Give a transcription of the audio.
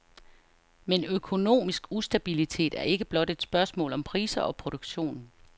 Men økonomisk ustabilitet er ikke blot et spørgsmål om priser og produktion.